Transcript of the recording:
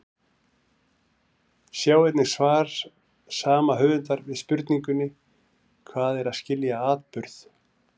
Sjá einnig svar sama höfundar við spurningunni Hvað er að skilja atburð?